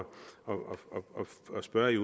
spørge i